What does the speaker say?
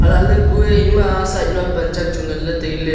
elahlay ema kue side ma panchak Chu nganlay tailay.